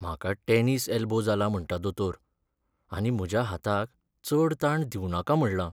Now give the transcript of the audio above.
म्हाका tennis elbow जाला म्हणटा दोतोर आनी म्हज्या हाताक चड ताण दिवनाका म्हणलां.